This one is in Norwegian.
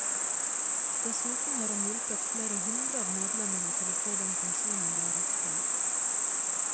Dessuten har han hjulpet flere hundre av medlemmene til å få den pensjonen de har rett til.